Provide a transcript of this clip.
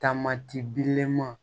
Taamati girimanw